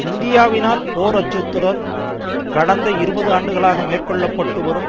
இந்தியாவினால் போர் அச்சுறுத்தல் கடந்த இருபது ஆண்டுகளாக மேற்கொள்ள பட்டு வரும்